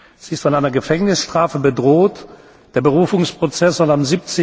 Sie ist von einer Gefängnisstrafe bedroht. Der Berufungsprozess soll